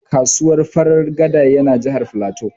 Kasuwar Farin gada ya na Jahar Filatu